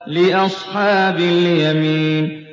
لِّأَصْحَابِ الْيَمِينِ